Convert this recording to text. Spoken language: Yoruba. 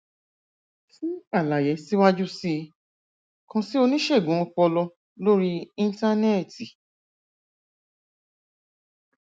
fún àlàyé síwájú sí i kàn sí oníṣègùn ọpọlọ lórí íńtánẹẹtì